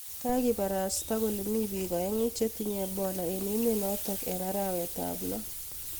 Kikibarasta kole mi bik aeng chetinye ebola eng emet notok eng arawet ap lo